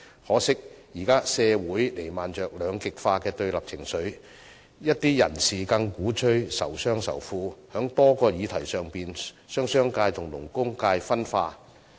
可惜的是，社會現時彌漫着兩極化的對立情緒，一些人士更鼓吹仇商仇富，在多項議題上將商界與勞工界分化。